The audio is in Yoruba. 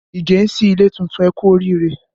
Ige sí ilé tuntun, ẹ kú oriire